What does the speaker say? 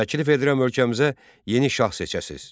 Təklif edirəm ölkəmizə yeni şah seçəsiz.